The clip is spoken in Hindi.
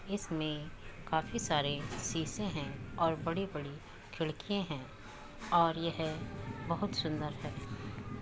इसमें काफी सारे शीशें हैं और बड़ी-बड़ी खिड़किये हैं और यह बहुत सुंदर है।